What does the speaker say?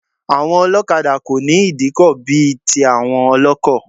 Àwọn ọlọ́kadà kò ní ìdíkọ̀ bí i tí àwọn ọlọ́kọ̀.